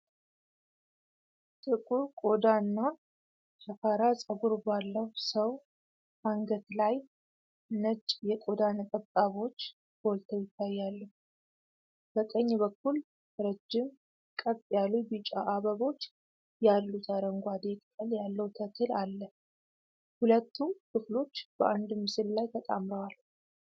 ጥቁር ቆዳ እና ሻካራ ጸጉር ባለው ሰው አንገት ላይ፣ ነጭ የቆዳ ነጠብጣቦች ጎልተው ይታያሉ። በቀኝ በኩል፣ ረጅም፣ ቀጥ ያሉ ቢጫ አበቦች ያሉት አረንጓዴ ቅጠል ያለው ተክል አለ። ሁለቱም ክፍሎች በአንድ ምስል ላይ ተጣምረዋል።